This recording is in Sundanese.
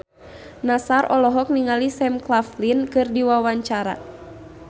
Nassar olohok ningali Sam Claflin keur diwawancara